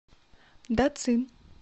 дацин